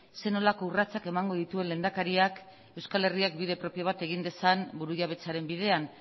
zer nolako urratsak emango dituen lehendakariak euskal herriak bide propio bat egin dezan burujabetzaren bidean